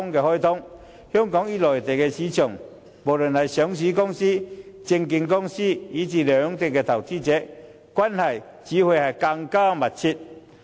香港與內地的上市公司、證券公司及投資者，關係只會更密切。